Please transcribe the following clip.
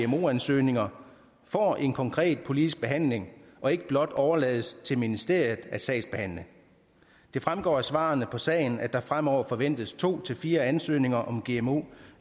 gmo ansøgninger får en konkret politisk behandling og ikke blot overlades til ministeriet at sagsbehandle det fremgår af svarene på sagen at der fremover forventes to fire ansøgninger om gmo